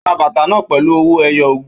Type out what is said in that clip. Ó ra bàtà náà pẹ̀lú ọwọ́ ẹyọ ogún